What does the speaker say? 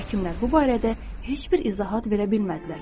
Həkimlər bu barədə heç bir izahat verə bilmədilər.